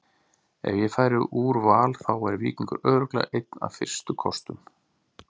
Ef ég færi úr Val þá væri Víkingur örugglega einn af fyrstu kostum.